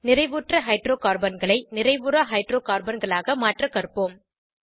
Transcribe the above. நிறைவுற்ற ஹைட்ரோகார்பன்களை நிறைவுறா ஹைட்ரோகார்பன்களாக க மாற்ற கற்போம்